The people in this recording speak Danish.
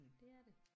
Det er det